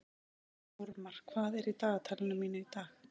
Þórmar, hvað er í dagatalinu mínu í dag?